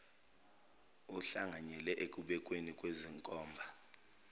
uhlanganyele ekubekweni kwezinkomba